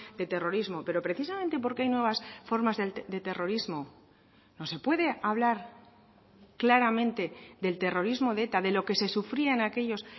de terrorismo pero precisamente porque hay nuevas formas de terrorismo no se puede hablar claramente del terrorismo de eta de lo que se sufría en aquellos